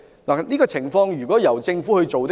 在這情況下，應由政府牽頭推行。